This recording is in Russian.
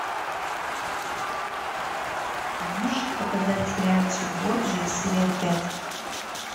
а можешь показать сериальчик борджиа серия пять